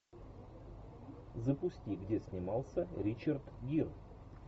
запусти где снимался ричард гир